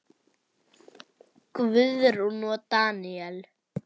Guðrún og Daníel.